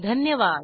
धन्यवाद